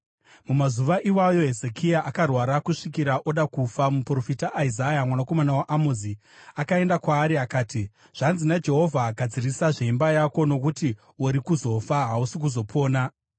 Mumazuva iwayo Hezekia akarwara kusvikira oda kufa. Muprofita Isaya mwanakomana waAmozi akaenda kwaari akati, “Zvanzi naJehovha: Gadzirisa zveimba yako, nokuti uri kuzofa; hausi kuzopona.”